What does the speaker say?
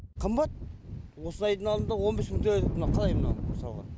қымбат осы айдың алдында он бес мың төледік мынау қалай мынау мысалғы